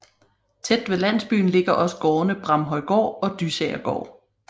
Tæt ved landsbyen ligger også gårdene Bramhøjgård og Dysagergård